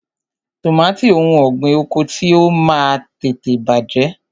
Tọmatì òun ọ̀gbín oko ti o Máà ń tètè bàjẹ́.